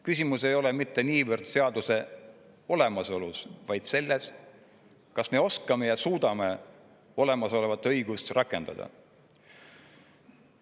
Küsimus ei ole mitte niivõrd seaduse olemasolus, vaid selles, kas me oskame ja suudame olemasolevat õigust rakendada.